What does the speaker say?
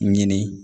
Ɲini